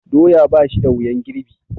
Doya ba shi da wuyan girbi.